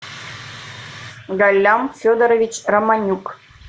галлям федорович романюк